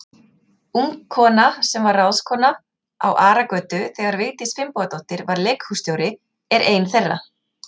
Ung kona, sem var ráðskona á Aragötu þegar Vigdís Finnbogadóttir var leikhússtjóri, er ein þeirra.